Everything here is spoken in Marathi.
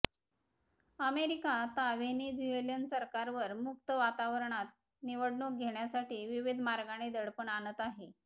अमेरिका आता व्हेनेझुएलन सरकारवर मुक्त वातावरणात निवडणूक घेण्यासाठी विविध मार्गाने दडपण आणत आहे